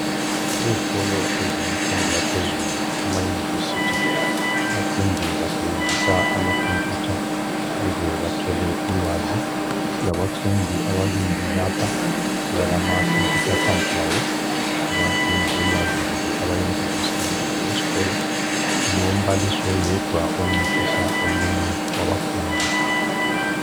Izikolo ezefundo yaphezulu amayunivesithi abafundi besebenzisa amakhophutha ukuze bathole ulwazi. Silabafundi ababili lapha abalamakhophutha phambili kwabo abadinga ulwazi kumbe abenza umsebenzi wabo wesikolo. Kulo mbalisi oyedwa incedisa omunye wabafundi.